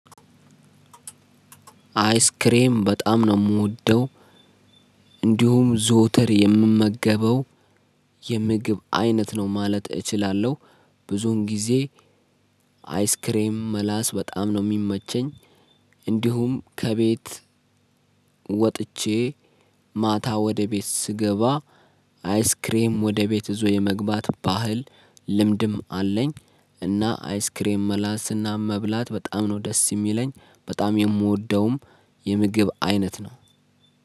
አይስክሬም በጣም ነው ምወደው። እንዲሁም ዘውትር የምመገበው የምግብ አይነት ነው ማለት እችላለሁ። ብዙም ጊዜ። አይስክሬም መለስ በጣም ነው ምመቻኝ። እንዲሁም ከቤት። ወጥቼ ማታ ወደ ቤት ስገባ አይስክሬም ወደ ቤት እዞ የመግባት ባህል ልምድም አለኝ። እና አይስክሬም መላስና መብላት በጣም ነው ደስ የሚለኝ። በጣም የምወደውም የምግብ አይነት ነው።